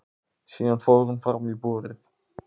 Síðan fór hún fram í búrið.